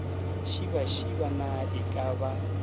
šibašiba na e ka ba